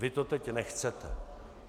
Vy to teď nechcete.